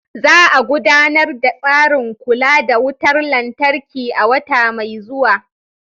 Za a gudanar da tsarin kula da wutar lantarki a wata mai zuwa.